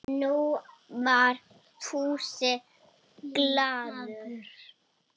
Nú var Fúsi glaður.